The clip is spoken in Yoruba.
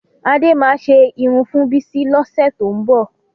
Adé máa ṣe irun fún Bísí lọ́sẹ̀ tó ń bọ̀